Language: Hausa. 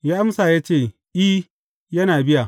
Ya amsa ya ce I, yana biya.